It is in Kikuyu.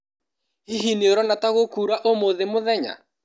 Hihi nĩũrona ta gũkura ũmũthĩ mũthenya?